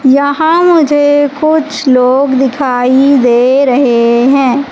यहां मुझे कुछ लोग दिखाई दे रहे हैं।